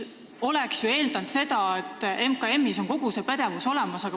Oleks võinud eeldada, et MKM-is on kogu see pädevus olemas.